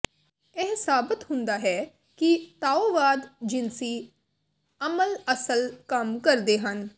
ਇਹ ਸਾਬਤ ਹੁੰਦਾ ਹੈ ਕਿ ਤਾਓਵਾਦ ਜਿਨਸੀ ਅਮਲ ਅਸਲ ਕੰਮ ਕਰਦੇ ਹਨ